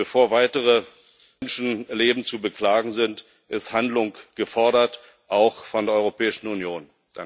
Bevor weitere Menschenleben zu beklagen sind, ist Handlung gefordert, auch von der Europäischen Union.